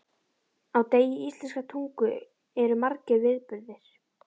Á degi íslenskrar tungu eru margir viðburðir.